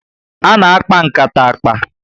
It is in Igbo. Ana akpa nkata akpa